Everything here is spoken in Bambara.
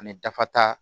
Ani dafa ta